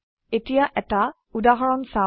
এতিয়া এটা উদাহৰণ চাও